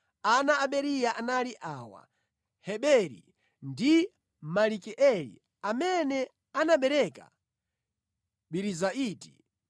Ana a Beriya anali awa: Heberi ndi Malikieli amene anabereka Birizaiti.